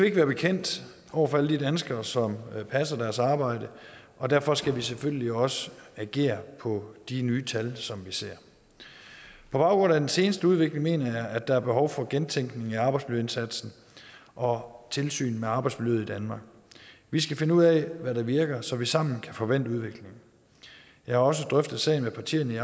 ikke være bekendt over for alle de danskere som passer deres arbejde og derfor skal vi selvfølgelig også agere på de nye tal som vi ser på baggrund af den seneste udvikling mener jeg der er behov for gentænkning af arbejdsmiljøindsatsen og tilsynet med arbejdsmiljøet i danmark vi skal finde ud af hvad der virker så vi sammen kan få vendt udviklingen jeg har også drøftet sagen med partierne i